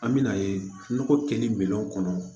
An bɛ n'a ye nɔgɔ kɛli minɛnw kɔnɔ